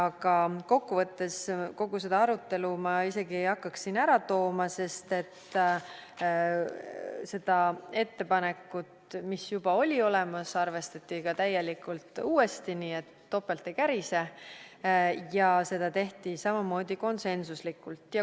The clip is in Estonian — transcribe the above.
Aga kokkuvõttes ma isegi ei hakkaks kogu seda arutelu siin ära tooma, sest seda ettepanekut, mis juba oli olemas, arvestati täielikult uuesti, nii et topelt ei kärise, ja seda tehti samamoodi konsensuslikult.